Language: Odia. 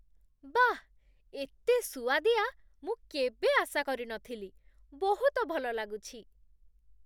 ବାଃ! ଏତେ ସୁଆଦିଆ, ମୁଁ କେବେ ଆଶା କରିନଥିଲି । ବହୁତ ଭଲ ଲାଗୁଛି ।